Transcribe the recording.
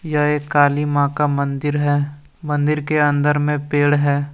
यह एक काली मां का मंदिर है मंदिर के अंदर में पेड़ है।